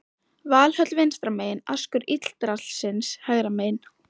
Valhöll vinstra megin, askur Yggdrasils hægra megin.